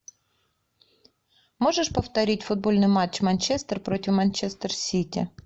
можешь повторить футбольный матч манчестер против манчестер сити